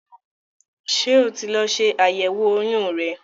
Ṣé o ti lọ ṣe àyẹ̀wò oyún rẹ?